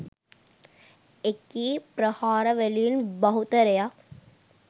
එකී ප්‍රහාර වලින් බහුතරයක්